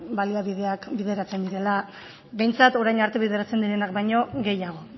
baliabideak bideratzen direla behintzat orain arte bideratzen direnak baino gehiago